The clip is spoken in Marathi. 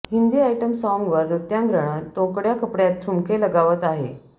हिंदी आयटम साँगवर नृत्यांगणा तोकड्या कपड्यात ठुमके लगावत आहे